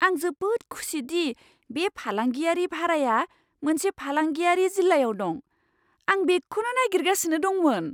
आं जोबोद खुसि दि बे फालांगियारि भाराया मोनसे फालांगियारि जिल्लायाव दं। आं बेखौनो नागिरगासिनो दंमोन!